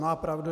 Má pravdu.